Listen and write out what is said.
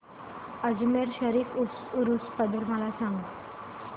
अजमेर शरीफ उरूस बद्दल मला सांग